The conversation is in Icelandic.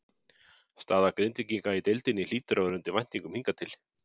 Staða Grindvíkinga í deildinni hlýtur að vera undir væntingum hingað til?